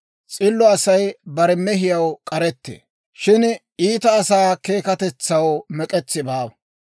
S'illo Asay bare mehiyaw k'arettee; shin iita asaa keekatetsaw mek'etsi baawa.